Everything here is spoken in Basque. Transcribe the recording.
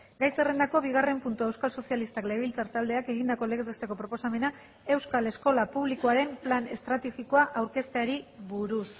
gai zerrendako bigarren puntua euskal sozialistak legebiltzar taldeak egindako legez besteko proposamena euskal eskola publikoaren plan estrategikoa aurkezteari buruz